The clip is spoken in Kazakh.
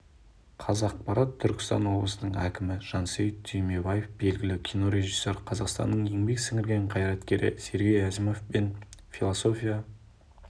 қазақпарат түркістан облысының әкімі жансейіт түймебаев белгілі кинорежиссер қазақстанның еңбек сіңірген қайраткері сергей әзімов пен философия